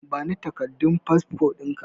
Bani takardun fasfo ɗinka